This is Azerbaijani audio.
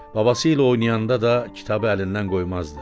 Babası ilə oynayanda da kitabı əlindən qoymazdı.